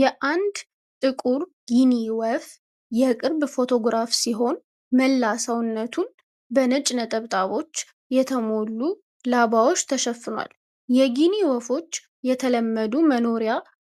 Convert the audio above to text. የአንድ ጥቁር ጊኒ ወፍ (Guinea Fowl) የቅርብ ፎቶግራፍ ሲሆን መላ ሰውነቱን በነጭ ነጠብጣቦች በተሞሉላባዎች ተሸፍኗል። የጊኒ ወፎች የተለመዱ መኖሪያ